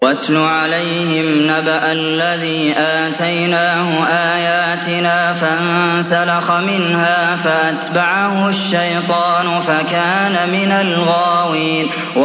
وَاتْلُ عَلَيْهِمْ نَبَأَ الَّذِي آتَيْنَاهُ آيَاتِنَا فَانسَلَخَ مِنْهَا فَأَتْبَعَهُ الشَّيْطَانُ فَكَانَ مِنَ الْغَاوِينَ